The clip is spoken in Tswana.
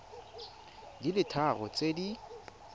di le tharo tse di